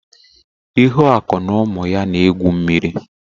Ihuaku na ụmụ ya na egwu mmiri.